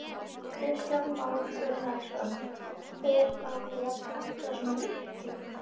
Kristján Már Unnarsson: Er þá verið að planta svona miklu?